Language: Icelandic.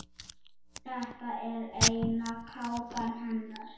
Þetta er eina kápan hennar.